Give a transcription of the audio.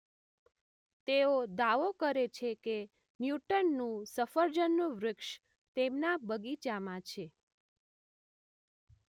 તેઓ દાવો કરે છે કે ન્યૂટનનું સફરજનનું વૃક્ષ તેમના બગીચામાં